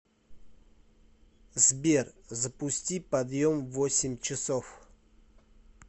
сбер запусти подъем в восемь часов